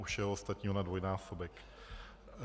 U všeho ostatního na dvojnásobek.